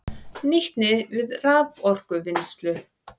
Nýtni við raforkuvinnslu